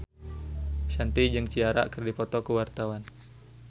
Shanti jeung Ciara keur dipoto ku wartawan